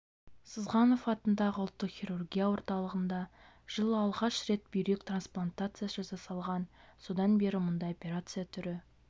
сызғанов атындағы ұлттық хирургия орталығында жылы алғаш рет бүйрек трансплантациясы жасалған содан бері мұндай операция түрі